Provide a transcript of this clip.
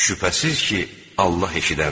şübhəsiz ki, Allah eşidəndir.